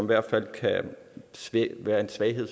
hvert fald kan være en svaghed